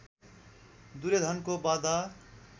दुर्योधनको वध